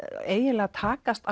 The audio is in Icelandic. eiginlega takast